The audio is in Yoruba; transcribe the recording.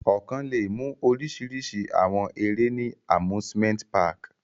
Ọkan le mu orisirisi awọn ere ni Amusement park